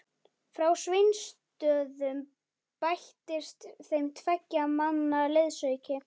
Frá Sveinsstöðum bættist þeim tveggja manna liðsauki.